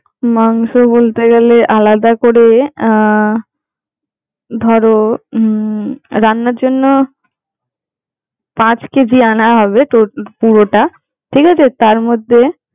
মাংস বলতে গেলে আলাদা করে আহ ধরো হম রান্নার জন্য, পাঁচ কেজি আনা হবে পুরোটা, ঠিক আছে? তার মধ্যে।